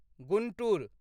Guntur